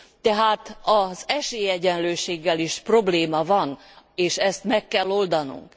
Tehát az esélyegyenlőséggel is probléma van, és ezt meg kell oldanunk.